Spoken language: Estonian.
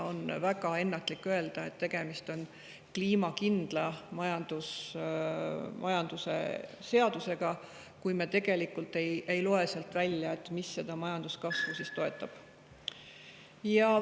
On väga ennatlik öelda, et tegemist on kliimakindla majanduse seadusega, kui me ei loe sealt välja, mis üldse majanduskasvu toetab.